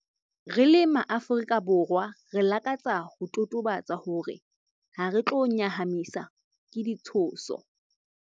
Re le MaAfrika Borwa, re lakatsa ho totobatsa hore hare tlo nyahamiswa ke ditshoso.